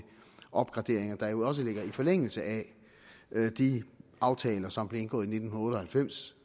opgraderinger der jo også ligger i forlængelse af de aftaler som blev indgået i nitten otte og halvfems